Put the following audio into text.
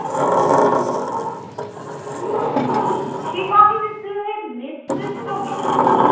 সিপাহি বিদ্রোহের নেতৃত্ব বৃন্দ